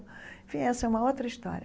Enfim, essa é uma outra história.